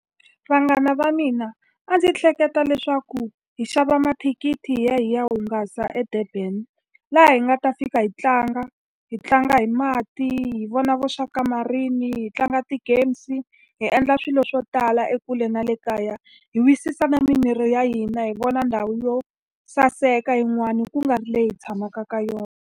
Vanghana va mina, a ndzi hleketa leswaku hi xava mathikithi hi ya hi ya hungasa eDurban. Laha hi nga ta fika hi tlanga, hi tlanga hi mati, hi vona vo uSharka Marine, hi tlanga ti-games, hi endla swilo swo tala ekule na le kaya. Hi wisisa na mimiri ya hina, hi vona ndhawu yo saseka yin'wani ku nga ri leyi hi tshamaka ka yona.